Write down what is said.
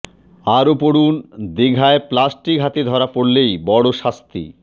আরও পড়ুন দিঘায় প্লাস্টিক হাতে ধরা পড়লেই বড়ো শাস্তি